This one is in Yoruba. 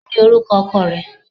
Kini oruko oko re?